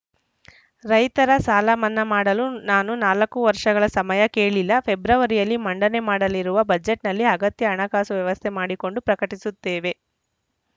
ರೈತರ ಸಾಲ ಮನ್ನಾ ಮಾಡಲು ನಾನು ನಾಲ್ಕು ವರ್ಷಗಳ ಸಮಯ ಕೇಳಿಲ್ಲ ಫೆಬ್ರವರಿಯಲ್ಲಿ ಮಂಡನೆ ಮಾಡಲಿರುವ ಬಜೆಟ್‌ನಲ್ಲಿ ಅಗತ್ಯ ಹಣಕಾಸು ವ್ಯವಸ್ಥೆ ಮಾಡಿಕೊಂಡು ಪ್ರಕಟಿಸುತ್ತೇವೆ